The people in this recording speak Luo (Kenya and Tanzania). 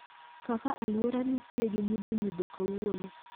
Kaka aluora nitie gi nyidho nyidho kawuono